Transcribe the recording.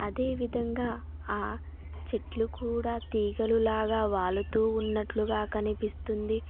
అదేవిధంగా ఆ చెట్లు కూడా తీగలులాగా వాలుతూ ఉన్నట్లుగా కనిపిస్తుంది.